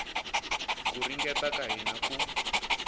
ku ringeta ka hina ku